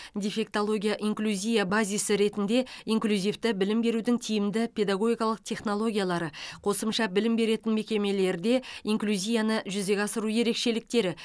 дефектология инклюзия базисі ретінде инклюзивті білім берудің тиімді педагогикалық технологиялары қосымша білім беретін мекемелерде инклюзияны жүзеге асыру ерекшеліктері